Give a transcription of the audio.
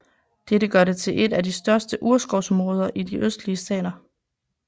Dette gør det til et af de største urskovsområder i de østlige stater